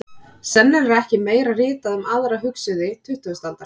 Sennilega er ekki meira ritað um aðra hugsuði tuttugustu aldar.